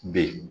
B